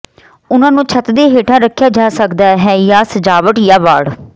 ਉਹਨਾਂ ਨੂੰ ਛੱਤ ਦੇ ਹੇਠਾਂ ਰੱਖਿਆ ਜਾ ਸਕਦਾ ਹੈ ਜਾਂ ਸਜਾਵਟ ਜਾਂ ਵਾੜ